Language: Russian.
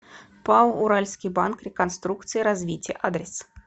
пао уральский банк реконструкции и развития адрес